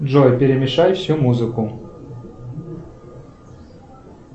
джой перемешай всю музыку